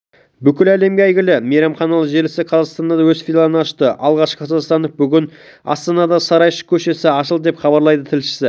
бүкіл әлемге әйгілі мейрамханалар желісі қазақстанда да өз филиалын ашты алғашқы қазақстандық бүгін астанадағы сарайшық көшесі ашылды деп хабарлайды тілшісі